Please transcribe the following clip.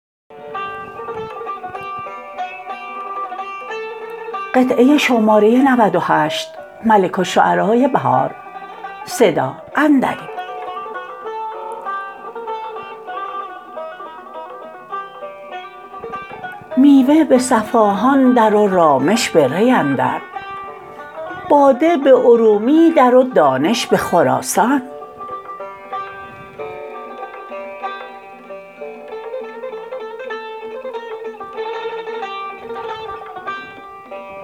میوه به صفاهان در و رامش به ری اندر باده به ارومی در و دانش به خراسان